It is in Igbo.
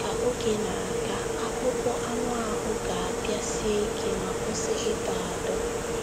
Ka oge na - aga, akpụkpọ anụ ahụ ga - abịa sie ike ma kwụsị ịdọ adọ.